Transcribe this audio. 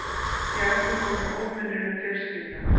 Já, við vorum óvenjuleg fjölskylda.